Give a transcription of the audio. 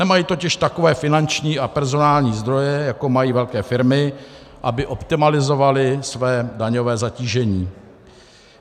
Nemají totiž takové finanční a personální zdroje, jako mají velké firmy, aby optimalizovali své daňové zatížení.